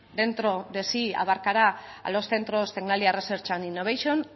dentro de sí abarcará a los centros tecnalia research innovation